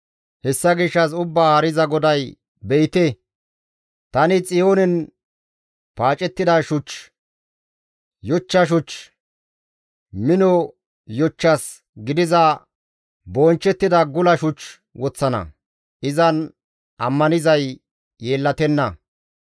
Hessa gishshas Ubbaa Haariza GODAY, «Be7ite! Tani Xiyoonen paacettida shuch, yochcha shuch, mino yochchas gidiza bonchchettida gula shuch woththana; izan ammanizay yeellatenna.